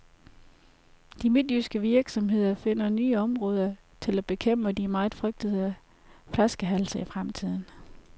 De midtjyske virksomheder finder nye måder til at bekæmpe de meget frygtede flaskehalse i fremtiden.